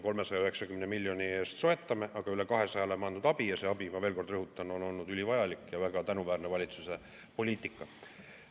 390 miljoni eest soetame, aga üle 200 oleme andnud abi, ja see abi, ma veel kord rõhutan, on olnud ülivajalik ja väga tänuväärne valitsuse poliitika.